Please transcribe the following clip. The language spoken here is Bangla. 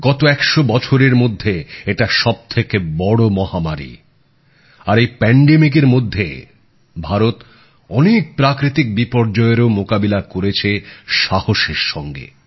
গত একশো বছরের মধ্যে এটা সবথেকে বড় মহামারী আর এই মহামারীর মধ্যে ভারত অনেক প্রাকৃতিক বিপর্যয়েরও মোকাবিলা করেছে সাহসের সঙ্গে